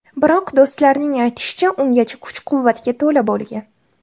Biroq, do‘stlarining aytishicha, ungacha kuch-quvvatga to‘la bo‘lgan.